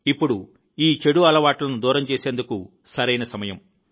ఇప్పుడు ఈ చెడు అలవాట్లను దూరం చేసేందుకు సరైన సమయం